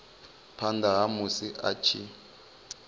phanda ha musi a tshi